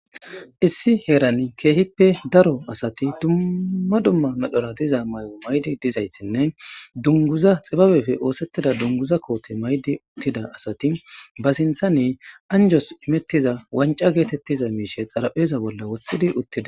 issi heerani keehippe daro asati dumma dumma medhora diza may'o maydi dizayssinne dunguza xibabefe oosettida dunguza koote maydi uttida asati ba sintha ne anjos imettiza wanca geetettiza miishe xarapheeza bolla wothidi uttida